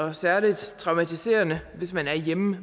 er særligt traumatiserende hvis man er hjemme